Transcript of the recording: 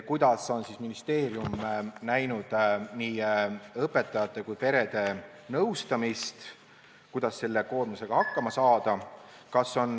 Kuidas on ministeerium näinud nii õpetajate kui ka perede nõustamist, et selle koormusega hakkama saada?